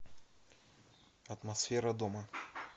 атмосфера дома